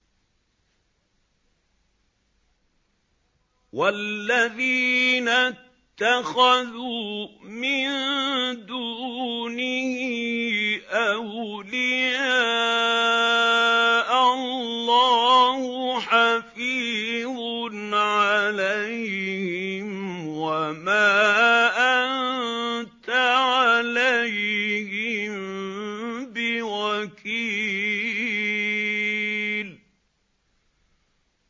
وَالَّذِينَ اتَّخَذُوا مِن دُونِهِ أَوْلِيَاءَ اللَّهُ حَفِيظٌ عَلَيْهِمْ وَمَا أَنتَ عَلَيْهِم بِوَكِيلٍ